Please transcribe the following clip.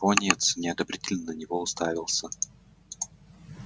пониетс неодобрительно на него уставился